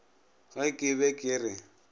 ge ke be ke re